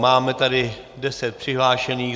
Máme tady deset přihlášených.